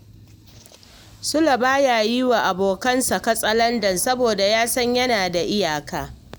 Sule ba ya yi wa abokansa katsalandan saboda ya san yana da iyaka